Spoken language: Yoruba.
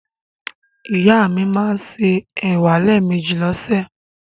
Ìyá mi máa ń se ẹ̀wà lẹ́ẹ̀mejì lọ́sẹ̀.